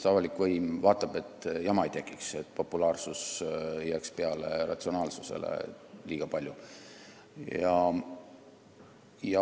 Avalik võim lihtsalt vaatab, et jama ei tekiks, et populaarsus ei jääks ratsionaalsusega võrreldes liiga palju peale.